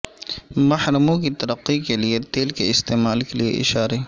محرموں کی ترقی کے لئے تیل کے استعمال کے لئے اشارے